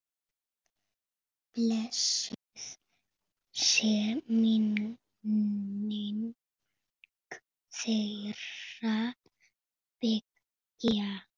Blessuð sé minning þeirra beggja.